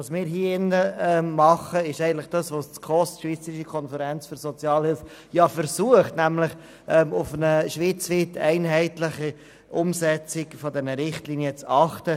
Was wir hier tun, ist das, was die SKOS versucht, nämlich auf eine schweizweit einheitliche Umsetzung der Richtlinien zu achten.